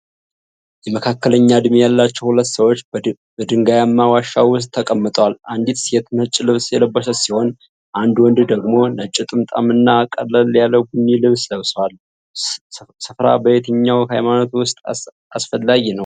የመካከለኛ ዕድሜ ያላቸው ሁለት ሰዎች በድንጋያማ ዋሻ ውስጥ ተቀምጠዋል። አንዲት ሴት ነጭ ልብስ የለበሰች ሲሆን አንድ ወንድ ደግሞ ነጭ ጥምጣምና ቀለል ያለ ቡኒ ልብስ ለብሷል። ሥፍራ በየትኛው ሃይማኖት ውስጥ አስፈላጊ ነው?